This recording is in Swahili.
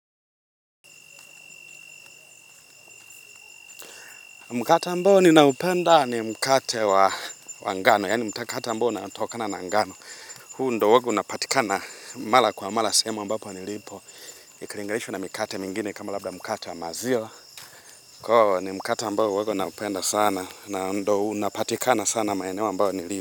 Mkata ambao ninaupenda ni mkate wa ngano, yani mtakata ambao unatokana na ngano. Huu ndo huwago unapatika na mala kwa mala sehemu ambapo nilipo. Ikili nganishwa na mikate mingini kama labda mkate wa maziwa. Koo, ni mkate ambao huwaga naupenda sana na ndo unapatika na sana maeneo ambapo nilipo.